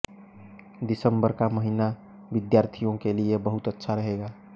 दिसम्बर का महिना विद्यार्थियों के लिए बहुत अच्छा रहेगा